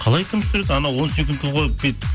қалай кім түсіреді анау он секундқа қойып бүйтіп